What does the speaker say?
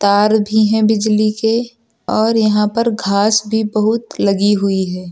तार भी है बिजली के और यहां पर घास भी बहुत लगी हुई है।